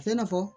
A bɛ se ka fɔ